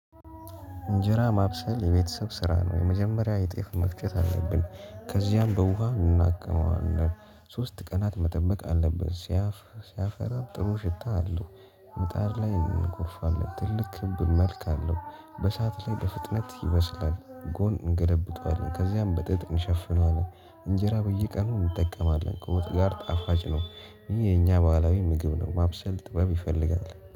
እንጀራ ማብሰል የቤተሰብ ስራ ነው የመጀመሪያ የጤፍ መፍጨት አለብን ከዚያም በውሃ እንድናክመዋለን ሶስት ቀናት መጠበቅ አለብን ሲያፈራም ጥሩ ሽታ አለው ምጣድ ላይ እንኮርፋለን ትልቅ ክብ መልክም አለው በሰአት ላይ በፍጥነት ይበስላል ጎን እንገለብጠዋለን ከዚያም በጥጥ እንሸፍነዋለን። እንጀራ በየቀኑ እንጠቀማለን ከወጥ ጋር ጣፋጭ ነው ይሄ የኛ ባህላዊ ምግብ ነው ማብሰል ጥበብ ይፈልጋል